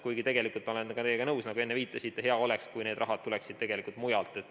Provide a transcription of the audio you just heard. Kuigi ma olen teiega nõus, nagu te enne viitasite, hea oleks, kui see raha tuleks tegelikult mujalt.